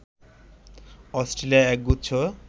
Australia এক গুচ্ছ